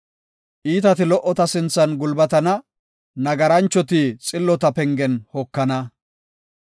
Iitati lo77ota sinthan gulbatana; nagaranchati xillota pengen hokana.